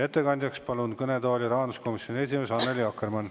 Ettekandeks palun kõnetooli rahanduskomisjoni esimehe Annely Akkermanni.